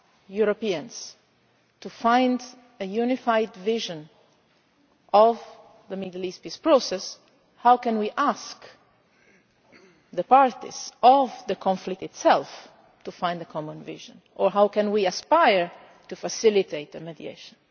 among us Europeans to find a unified vision of the Middle East Peace Process, how can we ask the parties in the conflict itself to find a common vision and how can we aspire to facilitate the mediation?